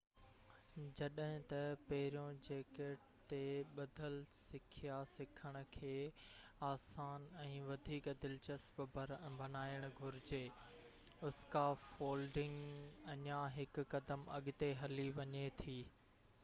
جڏهن ته پروجيڪٽ تي ٻڌل سکيا سکڻ کي آسان ۽ وڌيڪ دلچسپ بڻائڻ گهرجي اسڪافولڊنگ اڃان هڪ قدم اڳتي هلي وڃي ٿي